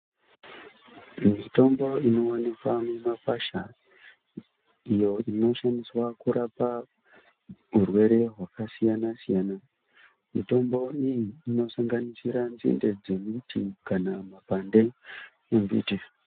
Mitombo inowanikwa mumakwasha iyo inoshandiswa kurapa urwere hwakasiyana siyana. Mitombo iyi inosanganisira nzinde dzemiti kana mapande emiti.